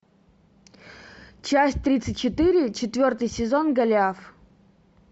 часть тридцать четыре четвертый сезон голиаф